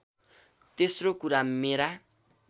तेस्रो कुरा मेरा